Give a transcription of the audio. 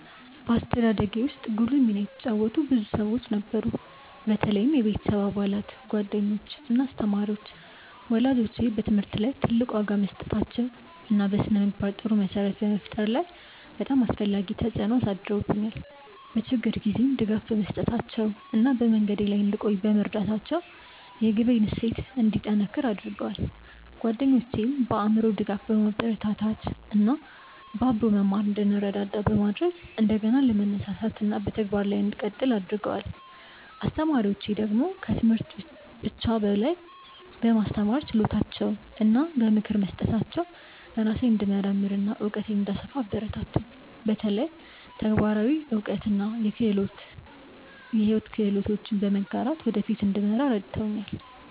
በአስተዳደጌ ውስጥ ጉልህ ሚና የተጫወቱ ብዙ ሰዎች ነበሩ፣ በተለይም የቤተሰብ አባላት፣ ጓደኞች እና አስተማሪዎች። ወላጆቼ በትምህርት ላይ ትልቅ ዋጋ በመስጠታቸው እና በስነ-ምግባር ጥሩ መሰረት በመፍጠር ላይ በጣም አስፈላጊ ተጽዕኖ አሳድረውብኛል፤ በችግር ጊዜም ድጋፍ በመስጠታቸው እና በመንገዴ ላይ እንድቆይ በመርዳታቸው የግቤን እሴት እንዲጠነክር አድርገዋል። ጓደኞቼም በአእምሮ ድጋፍ፣ በማበረታታት እና በአብሮ መማር እንድንረዳዳ በማድረግ እንደገና ለመነሳሳት እና በተግባር ላይ እንድቀጥል አግርገደዋል። አስተማሪዎቼ ደግሞ ከትምህርት ብቻ በላይ በማስተማር ችሎታቸው እና በምክር በመስጠታቸው ራሴን እንድመርምር እና እውቀቴን እንድሰፋ አበረታቱኝ፤ በተለይ ተግባራዊ እውቀት እና የሕይወት ክህሎቶችን በመጋራት ወደ ፊት እንድመራ ረድተውኛል።